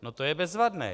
No to je bezvadné.